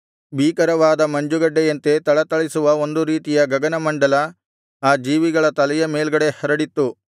ಭೀಕರವಾದ ಮಂಜುಗಡ್ಡೆಯಂತೆ ಥಳಥಳಿಸುವ ಒಂದು ರೀತಿಯ ಗಗನಮಂಡಲ ಆ ಜೀವಿಗಳ ತಲೆಯ ಮೇಲ್ಗಡೆ ಹರಡಿತ್ತು